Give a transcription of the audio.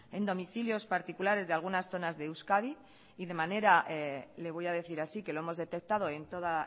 en domicilios particulares de algunas zonas de euskadi y de manera le voy a decir así que lo hemos detectado en toda